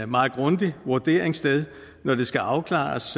meget grundig vurdering sted når det skal afklares